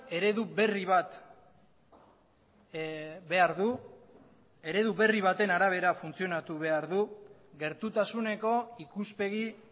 eredu berri bat behar du eredu berri baten arabera funtzionatu behar du gertutasuneko ikuspegi